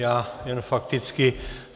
Já jen fakticky.